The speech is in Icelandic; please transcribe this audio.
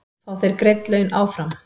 Fá þeir greidd laun áfram?